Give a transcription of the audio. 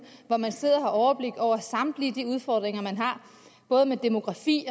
hvor man sidder og har overblik over samtlige de udfordringer man har både med demografi